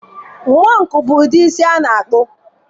Mohọk bụ ụdị isi a na-akpụ.